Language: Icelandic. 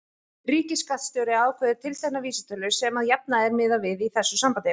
Ríkisskattstjóri ákveður tiltekna vísitölu sem að jafnaði er miðað við í þessu sambandi.